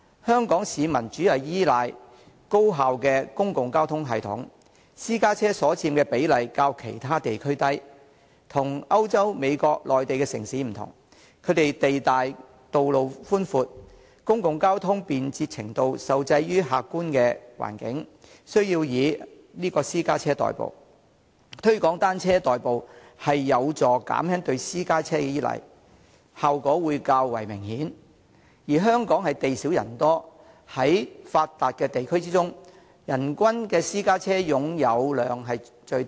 香港市民主要依賴高效的公共交通系統，私家車所佔比例較其他地區為低，與歐洲、美國和內地城市不同，這些地方地大，道路寬闊，公共交通便捷程度受制於客觀環境，需要以私家車代步，推廣以單車代步有助減輕對私家車的依賴，效果會較為明顯；而香港地少人多，在發達地區中，其人均私家車擁有量是最低的。